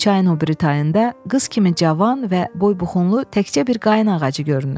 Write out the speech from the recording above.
Çayın o biri tayında qız kimi cavan və boybuxunlu təkcə bir qayın ağacı görünür.